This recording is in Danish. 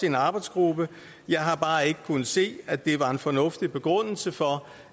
en arbejdsgruppe jeg har bare ikke kunnet se at det var en fornuftig begrundelse for